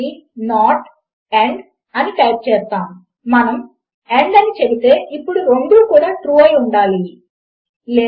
మనము మరలా మన పోల్చి చూసే ఆపరేటర్ల వద్దకు వెళదాము I F 1 is greater than or equal to 1 and 1 equal 1 అని టైప్ చేస్తే మనకు దాని ఫలితము ఒప్పు గా వస్తుంది